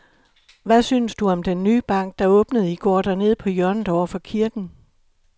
Hvad synes du om den nye bank, der åbnede i går dernede på hjørnet over for kirken?